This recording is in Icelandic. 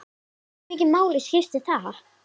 Hversu miklu máli skiptir það?